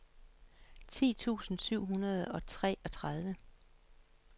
ti tusind syv hundrede og treogtredive